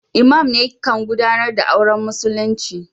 lmam ne kan gudanar da auren musulinci.